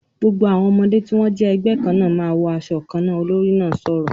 "Gbogbo àwọn ọmọdé tí wọ́n jẹ́ ẹgbẹ́ kan náà ma wọ asọ kan náà!", olórí náà sọ̀rọ̀